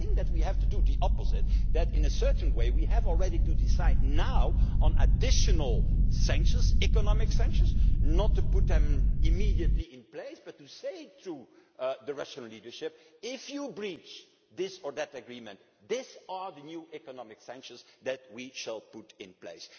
we shall react. I think that we have to do the opposite that in a certain way we have to decide already now on additional economic sanctions, not to put them immediately in place but to say to the Russian leadership if you breach this or that agreement, these are the new economic sanctions that we shall